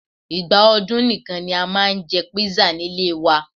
Ìgbà ọdún nìkan ni a máa ń jẹ kpisa nílé ẹ wa